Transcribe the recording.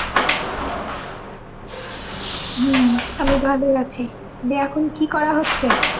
হুম আমি ভালো ই আছি দিয়া এখন কি করা হচ্ছে